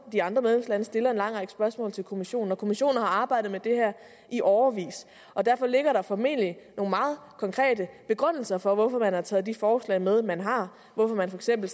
de andre medlemslande stiller en lang række spørgsmål til kommissionen og kommissionen har arbejdet med det her i årevis derfor ligger der formentlig nogle meget konkrete begrundelser for hvorfor man har taget de forslag med man har hvorfor man for eksempel